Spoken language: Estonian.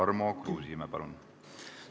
Tarmo Kruusimäe, palun!